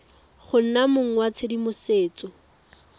go nna mong wa tshedimosetso